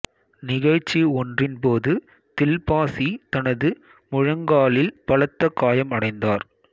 நிகழ்ச்சி ஒன்றின் போது தில்பாசி தனது முழங்காலில் பலத்த காயம் அடைந்தார்